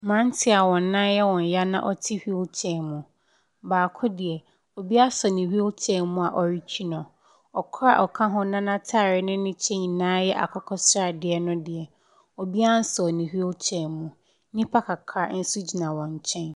Mmeranteɛ a wɔn nan yɛ wɔn yea na wɔte wheelchair mu. Baako deɛ, obi asɔ ne wheelchair mu a ɔretwi no. Ɔkoro a ɔka ho na n'atadeɛ ne ne kyɛ nyinaa yɛ akokɔ sradeɛ no de, obiara nsɔɔ ne wheelchair mu. Nnipa kakra nso gyina wɔn nkyɛn.